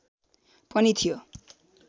पनि थियो